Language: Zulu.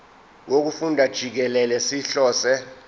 wokufunda jikelele sihlose